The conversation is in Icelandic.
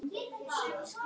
Hvaða klór?